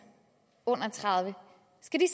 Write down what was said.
under tredive år